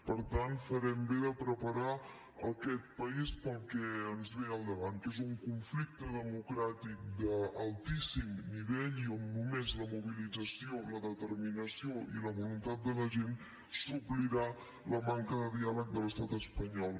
per tant farem bé de preparar aquest país per al que ens ve al davant que és un conflicte democràtic d’altíssim nivell i on només la mobilització la determinació i la voluntat de la gent suplirà la manca de diàleg de l’estat espanyol